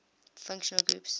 functional groups